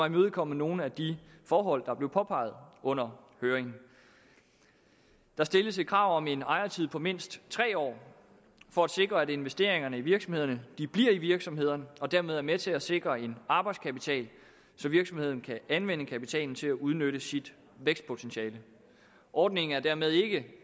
imødekommer nogle af de forhold der blev påpeget under høringen der stilles et krav om en ejertid på mindst tre år for at sikre at investeringerne i virksomhederne bliver i virksomhederne og dermed er med til at sikre en arbejdskapital så virksomheden kan anvende kapitalen til at udnytte sit vækstpotentiale ordningen er dermed ikke